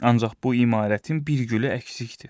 Ancaq bu imarətin bir gülü əksikdir.